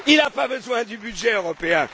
Il n'a pas besoin du budget européen.